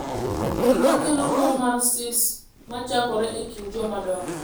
Gima kelo tuo mar Stills ma chakore e kind jomadongo ok ong’ere.